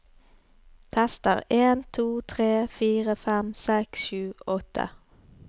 Tester en to tre fire fem seks sju åtte